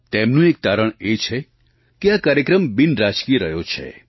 તેમનું એક તારણ એ છે કે આ કાર્યક્રમ બિનરાજકીય રહ્યો છે